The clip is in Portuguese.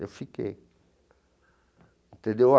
Eu fiquei entendeu.